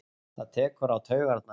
Það tekur á taugarnar.